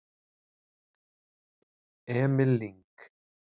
Emil Lyng